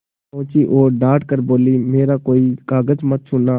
पहुँची और डॉँट कर बोलीमेरा कोई कागज मत छूना